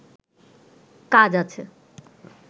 কাজ আছে